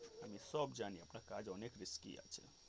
আমি সব জানি আপনার কাজ অনেক risky আছে.